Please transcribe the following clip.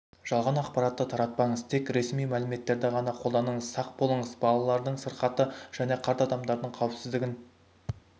жалған ақпаратты таратпаңыз тек ресми мәліметтерді ғана қолданыңыз сақ болыңыз балалардың сырқатты және қарт адамдардың қауіпсіздігін